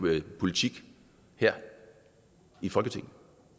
politik her i folketinget